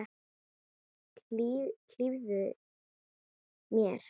Hlífðu mér.